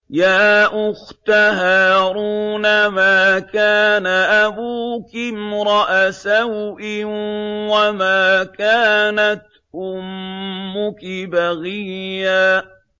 يَا أُخْتَ هَارُونَ مَا كَانَ أَبُوكِ امْرَأَ سَوْءٍ وَمَا كَانَتْ أُمُّكِ بَغِيًّا